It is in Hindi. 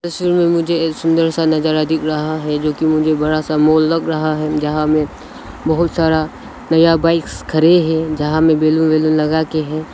इस रूम में मुझे एक सुंदर सा नजारा दिख रहा है जो कि मुझे बड़ा सा मॉल लग रहा है जहां में बहुत सारा नया बाइक्स खड़े हैं जहां में बैलून वैलून लगा के हैं।